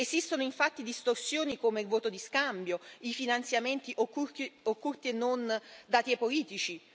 Esistono infatti distorsioni come il voto di scambio, i finanziamenti occulti e non dati ai politici.